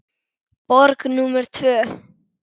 Borg númer tvö.